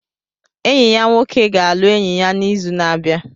Enyi ya nwoke ga-alụ enyi ya n'izu na-abịa.